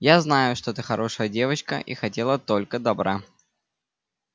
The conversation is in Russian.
я знаю что ты хорошая девочка и хотела только добра